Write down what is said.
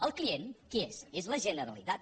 el client qui és és la generalitat